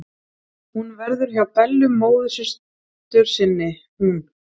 Hún verður hjá Bellu móðursystur sinni, hún.